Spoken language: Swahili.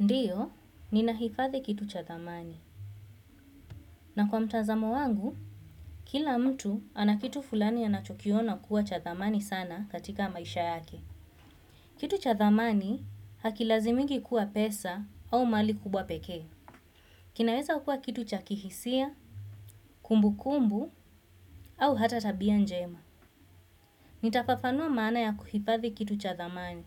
Ndiyo, ninahifadhi kitu cha dhamani. Na kwa mtazamo wangu, kila mtu ana kitu fulani anachokiona kuwa cha dhamani sana katika maisha yake. Kitu cha dhamani haki lazimiki kuwa pesa au mali kubwa peke. Kinaweza kua kitu cha kihisia, kumbukumbu au hata tabia njema. Nitafafanua maana ya kuhifadhi kitu cha dhamani.